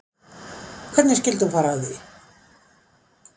Hvernig skyldi hún fara að því